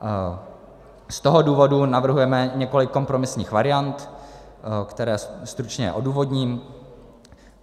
Z toho důvodu navrhujeme několik kompromisních variant, které stručně odůvodním.